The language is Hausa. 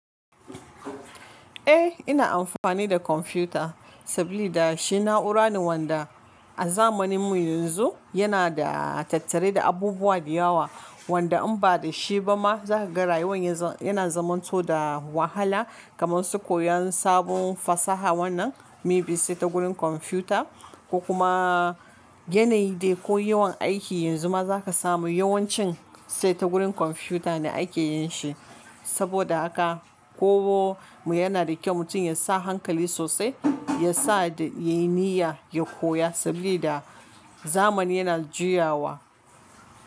Eh ina amfani da computer saboda shi na'ura ne wanda a zamanin mu yanzu yana da tattare da abubuwa da yawa wanda in ba da shi ba ma za ka ga rayuwan yanzu yana zamanto da wahala kamar su koyan sabon fasaha wannan may be sai ta gurin computer. Ko kuma yanayi dai ko yawan aiki yanzu ma za ka samu yawancin sai ta gurin kwamfuta ne ake yin shi. Saboda haka kowanne mu yana da kyau mutum ya sa hankali sosai ya sa ya yi niyya ya koya sabida da zamani yana juyawa.